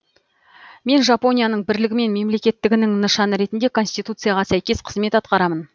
мен жапонияның бірлігі мен мемлекеттігінің нышаны ретінде конституцияға сәйкес қызмет атқарамын